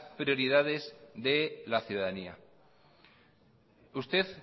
prioridades de la ciudadanía usted